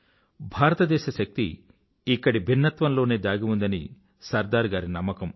భారతదేశ శక్తి ఇక్కడి భిన్నత్వంలోనే దాగి ఉందని సర్దార్ గారి నమ్మకం